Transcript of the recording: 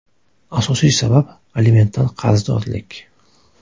Asosiy sabab alimentdan qarzdorlik.